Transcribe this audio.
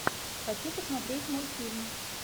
хочу посмотреть мультфильм